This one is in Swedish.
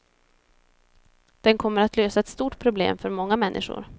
Den kommer att lösa ett stort problem för många människor.